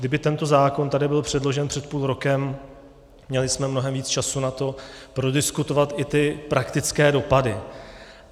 Kdyby tento zákon tady byl předložen před půl rokem, měli jsme mnohem víc času na to prodiskutovat i ty praktické dopady.